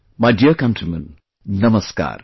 My dear countrymen, Namaskar